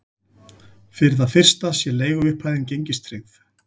Fyrir það fyrsta sé leiguupphæðin gengistryggð